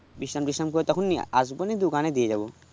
বিশ্রাম টিশ্রাম করে তখনি এসব দিয়ে দোকানে দিয়ে যাবো